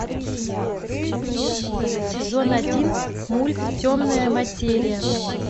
сезон один мульт темная материя